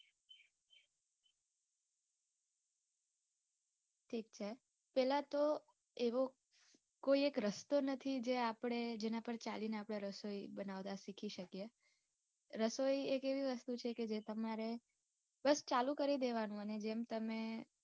ઠીક છે. પેલા તો એવો કોય એક રસ્તો નથી જે આપડે જેના પર ચાલીને આપડે રસોઈ બનાવતા સિખી શકીએ. રસોઈ એક એવી વસ્તુ છે કે જે તમારે બસ ચાલુ કરી દેવાનું અને જેમ તમે